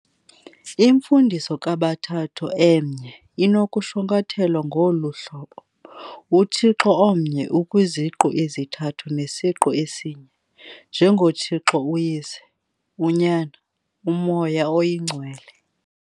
Imfundiso kaBathathu Emnye inokushwankathelwa ngolu hlobo- "UThixo Omnye ukwiZiqu Ezithathu neSiqu esinye, njengoThixo uYise, uNyana, uMoya Oyingcwele."